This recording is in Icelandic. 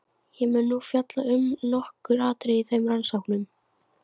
Ég mun nú fjalla um nokkur atriði í þeim rannsóknum.